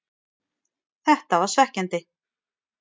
Þetta var svekkjandi,